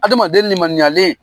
Adamaden nlemaniyalen